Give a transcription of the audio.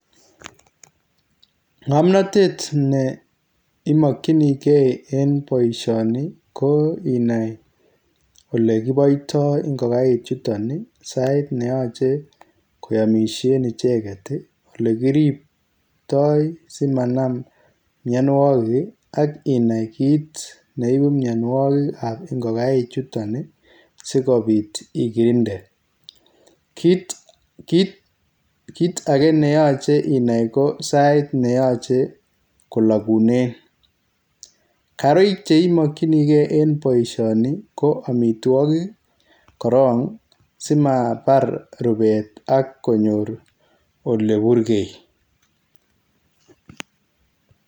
Ngamnatet ne imakyinigei en boisioni ko inai ole kibaitaa ingogaeiik chutoon ii sait netachei koyamisheen ichegeet olekiriptai simanaam mianwagik aginai kiit ne ibuu mianwagik ab ingogaeiik chutoon ii sikobiit igirinde kiit age ne yachei inai ko sait ne yachei kolaguneen kariik che imakyinigei en boisioni ko amitwagiik korong simabaar rupeet ak konyoor ole burgei.